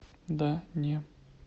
да не